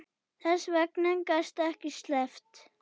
Þess vegna gastu ekki sleppt.